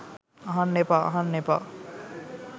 අහන්න එපා ! අහන්න එපා